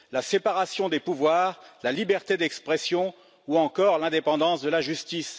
La séparation des pouvoirs, la liberté d'expression ou encore l'indépendance de la justice.